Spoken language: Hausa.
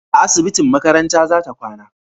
a asibitin makaranta za ta kwana